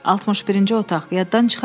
"61-ci otaq, yaddan çıxarma"